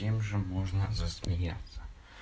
им можно засмеяться